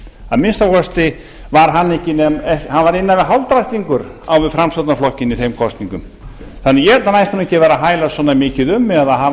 að minnsta kosti var hann innan við hálfdrættingur á við framsóknarflokkinn í þeim kosningum þannig að ég held að hann ætti nú ekki að vera að hælast